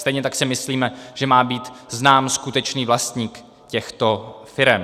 Stejně tak si myslíme, že má být znám skutečný vlastník těchto firem.